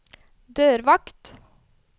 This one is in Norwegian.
dørvakt